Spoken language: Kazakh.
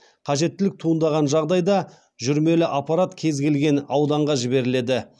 қажеттілік туындаған жағдайда жүрмелі аппарат кез келген ауданға жіберіледі